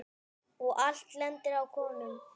Og allt lendir á konum.